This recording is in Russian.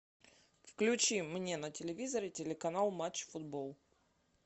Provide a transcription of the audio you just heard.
включи мне на телевизоре телеканал матч футбол